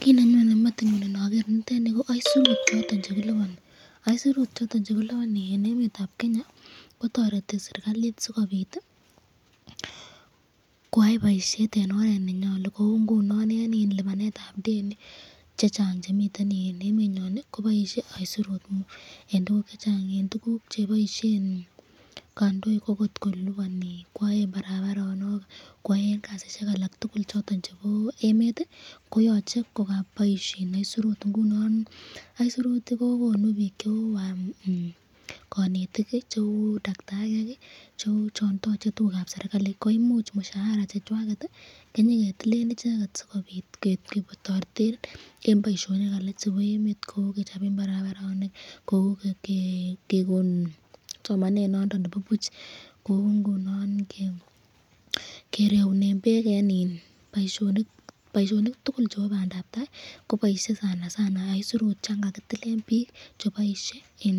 Kiit nenyone metinyun inokeer nitet nii ko oisurut choton chekiliboni, aisirut choton chekiliboni en emetab Kenya kotoreti serikalit sikobit koyai boishet en oret nenyolu kou ng'unon en iin libanetab deni chechang chemiten en emenyon koboishe aisirut en tukuk chechang en tukuk cheboishen kondoik okot kolibanen koyoen barabaronok koyoen kasisiek alak tukul choton chebo emet koyoche ko koboishen aisirut, ng'unon aisirut kokonu biik cheu konetik, cheu daktariek, cheu chon toche tukukab serikali, koimuch mushara chechwaket kenyeketilen icheket sikobit ketoreten en boishonik alak chebo emet kou kechoben barabaronok, kou kekon somanet noton nebo buch, kou ng'unon kireunen beek en boishonik tukul chebo bandab taai koboishe sana sana aisirut yoon kakitilen biik cheboishe en